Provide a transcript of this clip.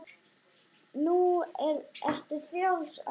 Nú ertu frjáls, amma.